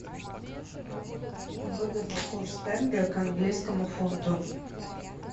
выгодный курс тенге к английскому фунту